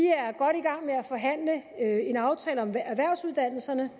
er i en aftale om erhvervsuddannelserne